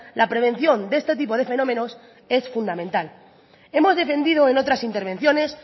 la prevención de este tipo de fenómenos es fundamental hemos defendido en otras intervenciones